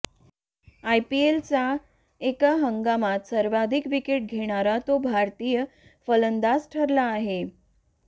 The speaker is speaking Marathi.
आयपीएलच्या एका हंगामात सर्वाधिक विकेट घेणारा तो भारतीय फलंदाज ठरला आहे